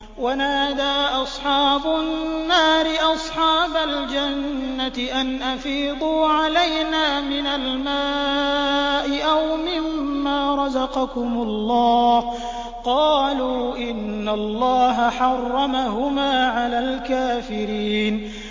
وَنَادَىٰ أَصْحَابُ النَّارِ أَصْحَابَ الْجَنَّةِ أَنْ أَفِيضُوا عَلَيْنَا مِنَ الْمَاءِ أَوْ مِمَّا رَزَقَكُمُ اللَّهُ ۚ قَالُوا إِنَّ اللَّهَ حَرَّمَهُمَا عَلَى الْكَافِرِينَ